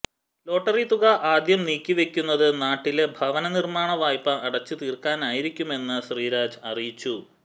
lottery തുക ആദ്യം നീക്കിവെക്കുന്നത് നാട്ടിലെ ഭവനനിര്മ്മാണ വായ്പ അടച്ചു തീര്ക്കാനായിരിക്കുമെന്ന് ശ്രീരാജ് അറിയിച്ചു